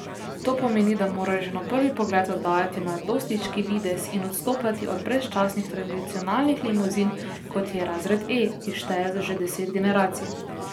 To pomeni, da morajo že na prvi pogled oddajati mladostniški videz in odstopati od brezčasnih tradicionalnih limuzin, kot je razred E, ki šteje že deset generacij.